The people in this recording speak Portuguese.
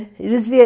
Eles